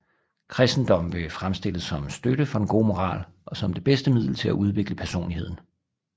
Kristendommen blev fremstillet som støtte for den gode moral og som det bedste middel til at udvikle personligheden